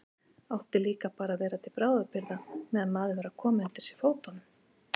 Átti líka bara að vera til bráðabirgða meðan maður var að koma undir sig fótunum.